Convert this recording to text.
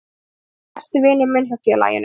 Hann er líklega besti vinur minn hjá félaginu.